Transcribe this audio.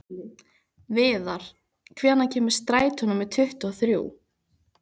Viðar, hvenær kemur strætó númer tuttugu og þrjú?